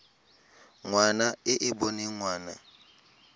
ngwana e e boneng ngwana